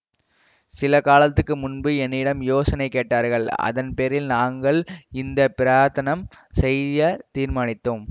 சில காலத்துக்கு முன்பு என்னிடம் யோசனை கேட்டார்கள் அதன் பேரில் நாங்கள் இந்த பிரயத்தனம் செய்ய தீர்மானித்தோம்